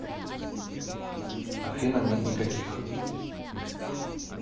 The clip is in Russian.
афина нет никаких